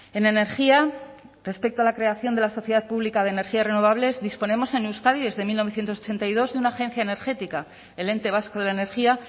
en energía respecto a la creación de la sociedad pública de energías renovables disponemos en euskadi desde mil novecientos ochenta y dos de una agencia energética el ente vasco de la energía